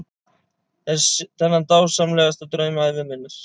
Þennan dásamlegasta draum ævi minnar.